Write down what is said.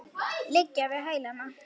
Liggja við hælana.